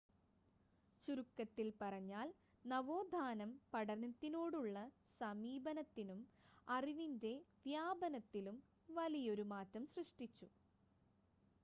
ചുരുക്കത്തിൽ പറഞ്ഞാൽ നവോത്ഥാനം പഠനത്തിനോടുള്ള സമീപനത്തിലും അറിവിൻ്റെ വ്യാപനത്തിലും വലിയൊരു മാറ്റം സൃഷ്ടിച്ചു